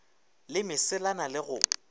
le mesela na le go